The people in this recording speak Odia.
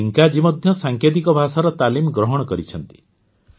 ଏବେ ଟିଙ୍କାଜୀ ମଧ୍ୟ ସାଙ୍କେତିକ ଭାଷାର ତାଲିମ ଗ୍ରହଣ କରିଛନ୍ତି